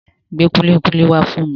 Gbé kúlíkúlí wá fún mi.